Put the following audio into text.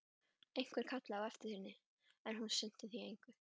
Einhver kallaði á eftir henni, en hún sinnti því engu.